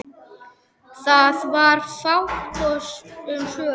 Það var fátt um svör.